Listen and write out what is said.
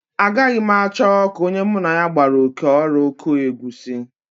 Agaghị m achọ ka onye mụ na ya gbara oké ọrụ kụọ egusi